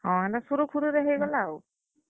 ହଁ, ହେନ୍ ତା ସୁରୁଖୁରୁ ରେ ହେଇଗଲା ଆଉ।